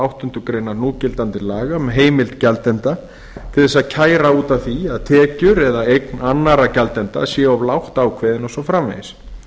áttundu grein núgildandi laga um heimild gjaldenda til þess að kæra út af því að tekjur og eign annarra gjaldenda sé of lágt ákveðin og svo framvegis